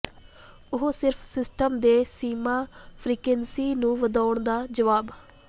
ਉਹ ਸਿਰਫ ਸਿਸਟਮ ਦੇ ਸੀਮਾ ਫਰੀਕੁਇੰਸੀ ਨੂੰ ਵਧਾਉਣ ਦਾ ਜਵਾਬ